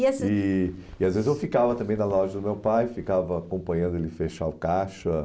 E essas Eh E às vezes eu ficava também na loja do meu pai, ficava acompanhando ele fechar o caixa.